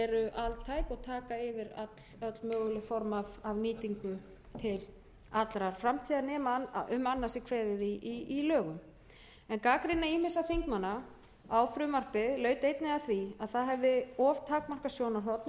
að felld verði úr gildi eru altæk og taka yfir öll möguleg form af nýtingu til allrar framtíðar nema á um annað sé kveðið í lögum gagnrýni ýmissa þingmanna á frumvarpið laut einnig að því að það hefði of takmarkað sjónarhorn og fjallaði fyrst og fremst um